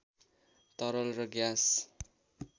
तरल र ग्यास